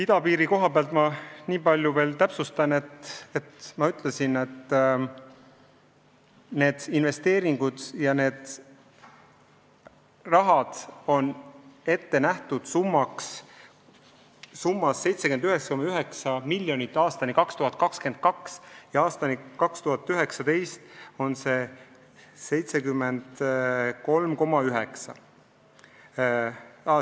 Idapiiri koha pealt ma nii palju täpsustan, et ma ütlesin, et need investeeringud on ette nähtud summas 79,9 miljonit aastani 2022. Aastani 2019 on see summa 73,9 miljonit.